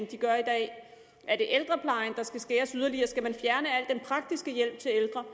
de gør i dag er det ældreplejen der skal skæres yderligere skal man fjerne al den praktiske hjælp til ældre